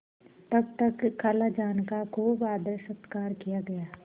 तब तक खालाजान का खूब आदरसत्कार किया गया